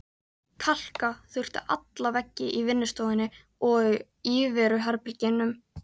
Kalka þurfti alla veggi í vinnustofunni og íveruherbergjunum.